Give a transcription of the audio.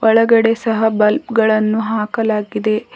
ಒಳಗಡೆ ಸಹ ಬಲ್ಪ್ ಗಳನ್ನು ಹಾಕಲಾಗಿದೆ.